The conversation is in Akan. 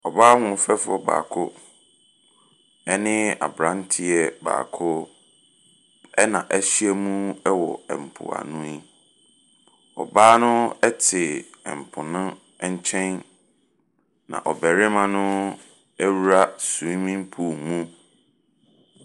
Ɔbaa ahoɔfɛfoɔ baako ne abeeranteɛ baako, ɛnna ahyia mu wɔ mpoano yi. Ɔbaa no te po no nkyɛn, na ɔbarima no awura swimming pool mu.